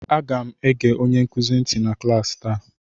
Aga m ege onye nkuzi nti na klaasị taa